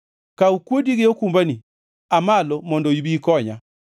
Kaw kuodi gi okumbani; aa malo mondo ibi ikonya.